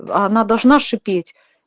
а она должна шипеть